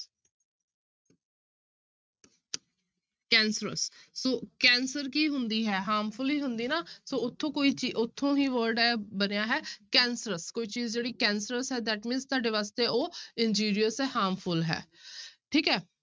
Cancerous so cancer ਕੀ ਹੁੰਦੀ ਹੈ harmful ਹੀ ਹੁੰਦੀ ਨਾ ਸੋ ਉੱਥੋਂ ਕੋਈ ਚੀ ਉੱਥੋਂ ਹੀ word ਇਹ ਬਣਿਆ ਹੈ cancerous ਕੋਈ ਚੀਜ਼ ਜਿਹੜੀ cancerous ਹੈ that mean ਤੁਹਾਡੇ ਵਾਸਤੇ ਉਹ injurious ਹੈ harmful ਹੈ ਠੀਕ ਹੈ।